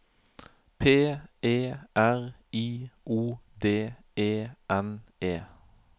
P E R I O D E N E